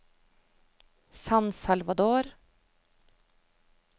San Salvador